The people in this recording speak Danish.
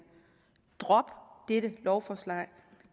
drop dette lovforslag